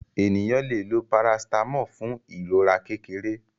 Ènìyàn lẹ ló paracetamol fun ìrora kékeré.